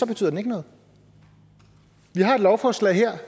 betyder den ikke noget vi har et lovforslag her